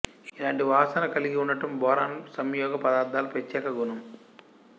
ఇలాంటి వాసన కల్గి ఉండటం బోరాన్ సంయోగ పదార్థాల ప్రత్యేక గుణం